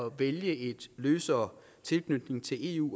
at vælge en løsere tilknytning til eu